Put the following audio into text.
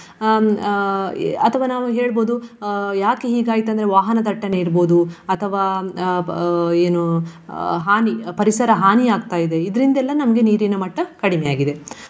ಹ್ಮ್ ಅಥವಾ ನಾವು ಹೇಳ್ಬಹುದು ಅಹ್ ಯಾಕೆ ಹೀಗಾಯ್ತು ಅಂದ್ರೆ ವಾಹನ ದಟ್ಟನೆ ಇರ್ಬಹುದು ಅಥವಾ ಅಹ್ ಅಹ್ ಏನು ಹಾನಿ ಪರಿಸರ ಆಗ್ತಾ ಇದೆ ಇದ್ರಿಂದೆಲ್ಲ ನಮ್ಗೆ ನೀರಿನ ಮಟ್ಟ ಕಡಿಮೆ ಆಗಿದೆ.